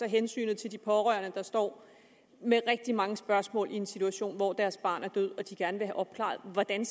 hensynet til de pårørende der står med rigtig mange spørgsmål i en situation hvor deres barn er død og de gerne vil have opklaret hvordan